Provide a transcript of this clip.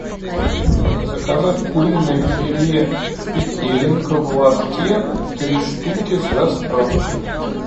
заказать куриное филе петелинка в лотке три штуки с доставкой